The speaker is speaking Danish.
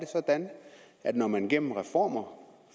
sådan at når man gennem reformer